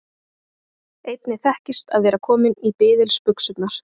Einnig þekkist að vera kominn í biðilsbuxurnar.